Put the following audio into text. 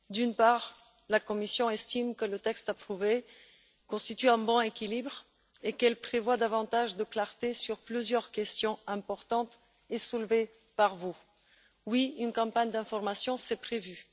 D'une part, la Commission estime que le texte approuvé constitue un bon équilibre et qu'il prévoit davantage de clarté sur plusieurs questions importantes que vous avez soulevées. Oui, une campagne d'information est prévue.